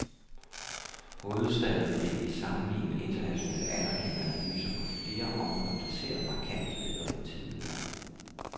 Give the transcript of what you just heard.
Hovedstaden blev i sammenlignende internationale, anerkendte analyser på flere områder placeret markant bedre end tidligere.